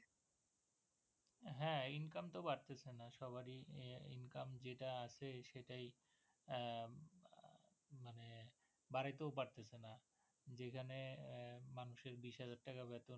হ্যাঁ ইনকাম তও বাড়তেছে না সবারই ইনকাম যেটা আছে সেটাই উম মানে বাড়াইতেও পারতেছেনা যে জন্য মানুষের বিশহাজার টাকা বেতন